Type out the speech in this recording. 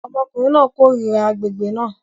Ọmọkùnrin náà kórìíra agbègbè náà